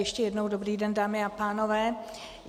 Ještě jednou dobrý den, dámy a pánové.